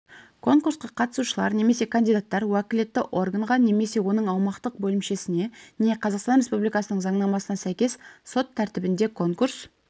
конкурсқа қатысушылар мен кандидаттар уәкілетті органға немесе оның аумақтық бөлімшесіне не қазақстан республикасының заңнамасына сәйкес сот тәртібінде конкурс